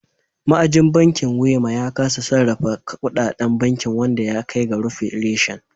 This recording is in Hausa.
Ma'ajin bankin Wema ya kasa sarrafa kudaden bankin wanda ya kai ga rufe reshen.